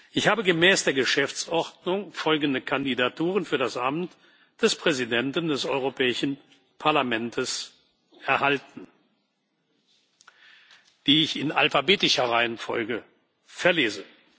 Ich habe gemäß der Geschäftsordnung folgende Kandidaturen für das Amt des Präsidenten des Europäischen Parlaments erhalten, die ich in alphabetischer Reihenfolge verlese.